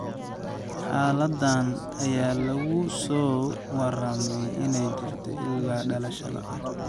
Xaaladdan ayaa lagu soo waramayaa inay jirto ilaa dhalashada.